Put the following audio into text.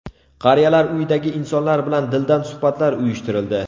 Qariyalar uyidagi insonlar bilan dildan suhbatlar uyushtirildi.